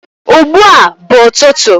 ugbua bu ututu